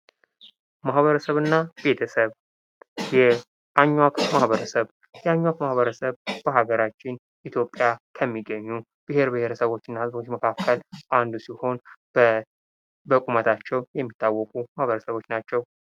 ማበረሰብ እና ቤተሰብ፦ የአኟክ ማህበረሰብ፦ የአኟክ ማህበረሰብ በሀገራችን ኢትዮጵያ ከሚገኙ ብሄር ብሄረሰቦች እና ህዝቦች መካከል አንዱ ሲሆን በቁመታቸው የሚታወቁ ማህበረሰቦች ናቸው።